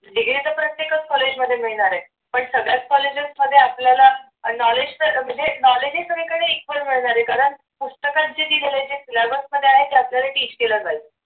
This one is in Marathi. degree तर प्रत्येकच college मध्ये मिळणार आहे पण सगळ्याच college स मध्ये आपल्याला knowledge तर म्हणजे knowledge सगळीकडे equal मिळणार आहे कारण पुस्तकात जे दिलेल आहे ते syllabus मध्ये आहे ते आपल्याला teach केल जाईल.